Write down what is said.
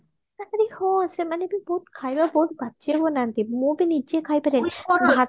ତା ପରେ ହଁ ସେମାନେ ବି ବହୁତ ଖାଇବା ବହୁତ ବାଜ୍ଯେ ବନାନ୍ତି ମୁଁ ବି ନିଜେ ଖାଇ ପାରେନି